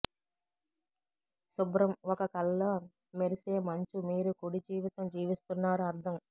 శుభ్రం ఒక కలలో మెరిసే మంచు మీరు కుడి జీవితం జీవిస్తున్నారు అర్థం